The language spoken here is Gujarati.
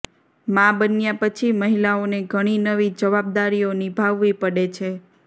માં બન્યા પછી મહિલાઓને ઘણી નવી જવાબદારીઓ નિભાવવી પડે છે